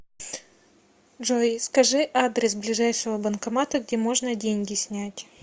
джой скажи адрес ближайшего банкомата где можно деньги снять